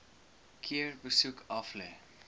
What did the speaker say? keer besoek aflê